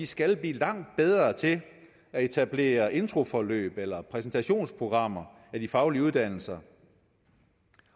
skal blive langt bedre til at etablere introforløb eller præsentationsprogrammer af de faglige uddannelser